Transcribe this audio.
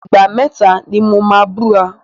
Ìgbà mẹ́tà ni mo máa búra.